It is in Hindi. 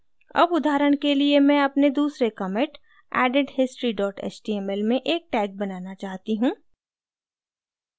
अब उदाहरण के लिए मैं अपने दूसरे commit added history html में एक tag बनाना चाहती हूँ